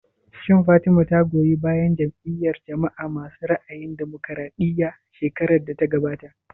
Shin Fatima ta goyi bayan Jam'iyar jama'a masu ra'ayin damokaraɗiya shekarar da ta gabata?